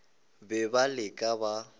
le be le ka ba